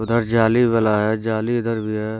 जाली वाला है जाली इधर भी है।